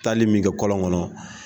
Taali min kɛ kɔlɔn kɔnɔ.